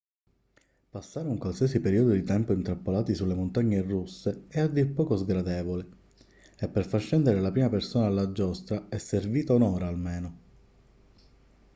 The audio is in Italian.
passare un qualsiasi periodo di tempo intrappolati sulle montagne russe è a dir poco sgradevole e per far scendere la prima persona dalla giostra è servita un'ora almeno